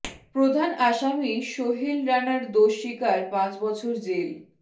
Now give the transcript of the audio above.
প্রধান আসামি সোহেল রানার দোষ স্বীকার পাঁচ বছর জেল